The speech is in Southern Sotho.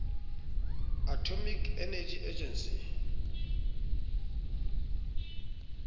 atomic energy agency